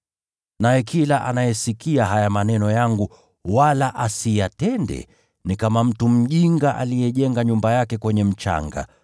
Naye kila anayesikia haya maneno yangu wala asiyatende, ni kama mtu mjinga aliyejenga nyumba yake kwenye mchanga.